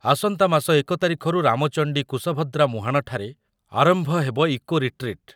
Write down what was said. ଆସନ୍ତା ମାସ ଏକ ତାରିଖରୁ ରାମଚଣ୍ଡୀ କୁଶଭଦ୍ରା ମୁହାଣ ଠାରେ ଆରମ୍ଭ ହେବ ଇକୋ ରିଟ୍ରିଟ୍ ।